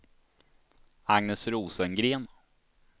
Agnes Rosengren